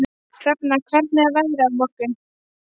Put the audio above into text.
Hrafna, hvernig er veðrið á morgun?